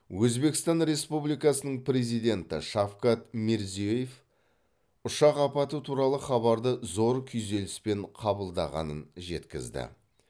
өзбекстан республикасының президенті шавкат мирзиеев ұшақ апаты туралы хабарды зор күйзеліспен қабылдағанын жеткізді